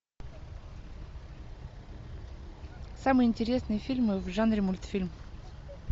самые интересные фильмы в жанре мультфильм